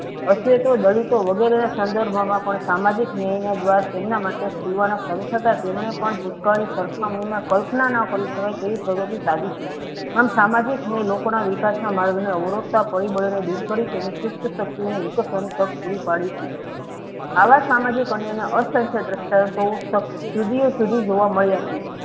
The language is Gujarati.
આમ સામાજિક મય લોકોના વિકાસ ના માર્ગને અવરોધતા પરિબળોને દૂર કરી તેની સુસ્ત શક્તિઓનો હિત શ્રેણી તક પુરી પડે છે. આવા સામાજિક અન્યાયના અસંખ્ય દ્રંષ્ટાન્તો ફકત સુધીયે સુધી જોવા મળ્યા છે.